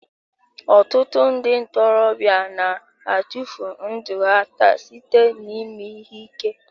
Ọtụtụ ndị ntorobịa na-atụfu ndụ ha taa site n'ime ihe ike.